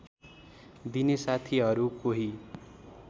दिने साथीहरू कोही